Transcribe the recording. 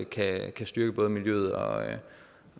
kan styrke både miljøet og